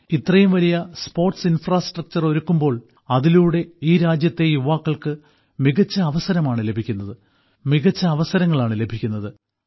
ഇത്രയും വലിയ sports infrastructure ഒരുക്കുമ്പോൾ അതിലൂടെ ഈ രാജ്യത്തെ യുവാക്കൾക്ക് മികച്ച അവസരങ്ങളാണ് ലഭിക്കുന്നത്